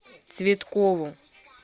цветкову